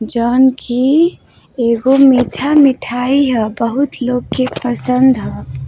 जोवन की एगो मीठा मिठाई हय। बहूत लोग के पसंद हय।